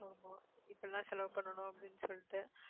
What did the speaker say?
ஆமா இப்படி எல்லாம் செலவு பண்ணணும் அப்படின்னு சொல்லிட்டு